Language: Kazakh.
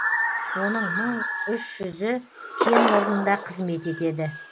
оның мың үш жүзі кен орнында қызмет етеді